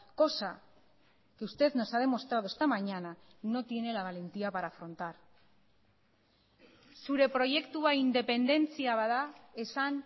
cosa que usted nos ha demostrado esta mañana no tiene la valentía para afrontar zure proiektua independentzia bada esan